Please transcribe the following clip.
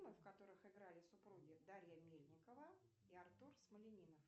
в которых играли супруги дарья мельникова и артур смолянинов